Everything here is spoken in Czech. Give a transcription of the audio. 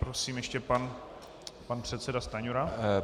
Prosím, ještě pan předseda Stanjura.